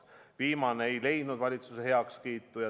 Viimane ei leidnud valitsuse heakskiitu.